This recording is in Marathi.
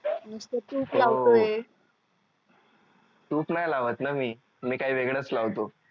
नुसतं तूप लावतोय तूप नाही लावत न मी मी काही वेगळंच लावतो